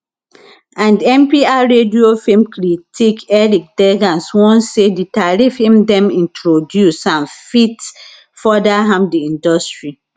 and npr radio film critic eric deggans warn say di tariffs if dem introduce am fit further harm di industry